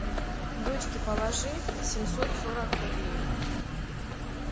дочке положи семьсот сорок рублей